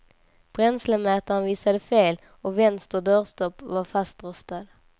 Bränslemätaren visade fel och vänster dörrstopp var fastrostad.